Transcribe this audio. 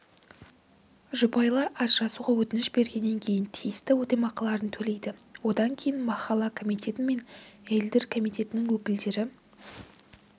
жұбайлар ажырасуға өтініш бергеннен кейін тиісті өтемақыларын төлейді одан кейін махалла комитеті мен әйелдер комитетінің өкілдері